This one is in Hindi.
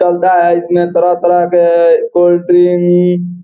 चलता है इसमें तरह-तरह के कोल्ड ड्रिंक --